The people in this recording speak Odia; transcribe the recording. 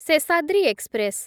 ଶେଷାଦ୍ରୀ ଏକ୍ସପ୍ରେସ୍